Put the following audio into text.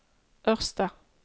Ørsta